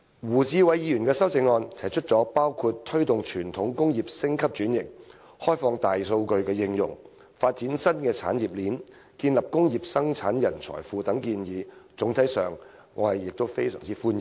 胡志偉議員的修正案提出的建議包括推動傳統工業升級轉型、開放大數據應用、發展新產業鏈及建立工業生產人才庫等，我總體上亦非常歡迎。